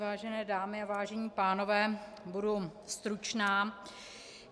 Vážené dámy a vážení pánové, budu stručná.